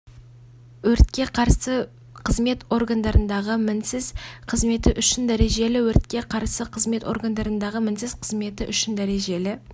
өз отбасыңыз туралы айтсаңыз демалыс кезінде уақытыңызды қалай өткізесіз сіз үшін аса қымбат қандай да мадақтаулар